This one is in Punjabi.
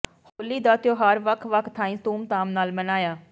ਹੋਲੀ ਦਾ ਤਿਉਹਾਰ ਵੱਖ ਵੱਖ ਥਾਈਂ ਧੂਮਧਾਮ ਨਾਲ ਮਨਾਇਆ